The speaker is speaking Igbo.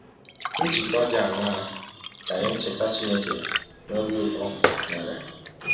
Njikọ dị aṅaa ka ihe ncheta Chineke na ọbi ụtọ nwere?